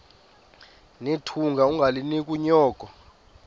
nethunga ungalinik unyoko